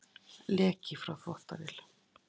Leki frá þvottavél